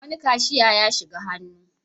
Wani kashiya ya shiga hannu.